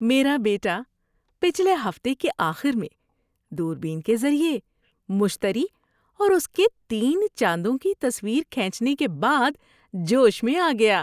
میرا بیٹا پچھلے ہفتے کے آخر میں دوربین کے ذریعے مشتری اور اس کے تین چاندوں کی تصویر کھینچنے کے بعد جوش میں آ گیا۔